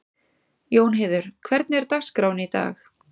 Jónheiður, hvernig er dagskráin í dag?